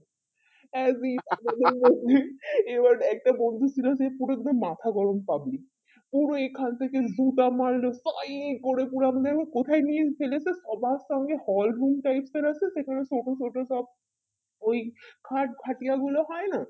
এবার একটা বন্ধু ছিল সে পুরো একদম মাথা গরম public পুরো এখন থেকে দুটা মারলে পাই করে কোথায় নিয়ে ছেলে তো সবার সঙ্গে horizon type এর আছে তো সেখানে photo শটো সব ওই খাট খাটিয়া গুলো হয় না